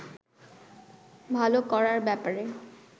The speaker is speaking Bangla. ভালো করার ব্যাপারে